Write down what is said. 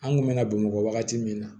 An kun me na bamakɔ wagati min na